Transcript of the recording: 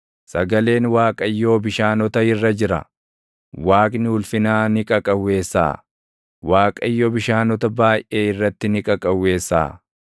Sagaleen Waaqayyoo bishaanota irra jira; Waaqni ulfinaa ni qaqawweessaʼa; Waaqayyo bishaanota baayʼee irratti ni qaqawweessaʼa.